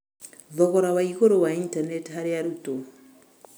Thogora waigũrũ wa itaneti harĩ arutwo.